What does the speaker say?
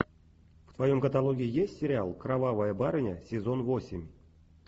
в твоем каталоге есть сериал кровавая барыня сезон восемь